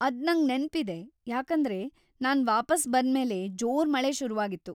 ಅದ್‌ ನಂಗ್ ನೆನ್ಪಿದೆ, ಯಾಕಂದ್ರೆ ನಾನ್‌ ವಾಪಸ್‌ ಬಂದ್ಮೇಲೆ ಜೋರ್ ಮಳೆ ಶುರುವಾಗಿತ್ತು.